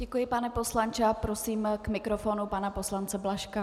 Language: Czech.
Děkuji, pane poslanče, a prosím k mikrofonu pana poslance Blažka.